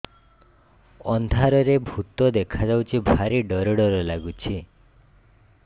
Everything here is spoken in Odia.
ଅନ୍ଧାରରେ ଭୂତ ଦେଖା ଯାଉଛି ଭାରି ଡର ଡର ଲଗୁଛି